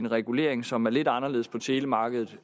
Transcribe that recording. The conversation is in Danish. regulering som er lidt anderledes på telemarkedet